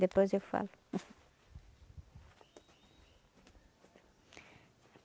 Depois eu falo.